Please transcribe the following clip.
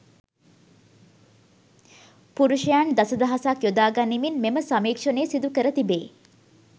පුරුෂයන් දස දහසක් යොදා ගනිමින් මෙම සමීක්ෂණය සිදු කර තිබේ.